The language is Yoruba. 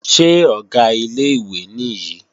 Ṣé Ọ̀gá ilé-ìwé nìyí?